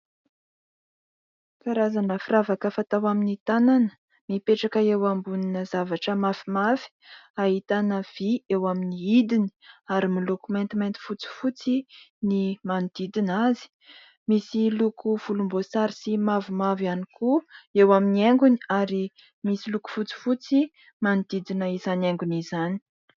Karazana firavaka fatao amin'ny tanana, mipetraka eo ambonina zavatra mafimafy, ahitana vy eo amin'ny hidiny, ary miloko maintimainty fotsifotsy ny manodidina azy. Misy loko volomboasary sy mavomavo ihany koa eo amin'ny haingony ary misy loko fotsifotsy manodidina izany haingony izany.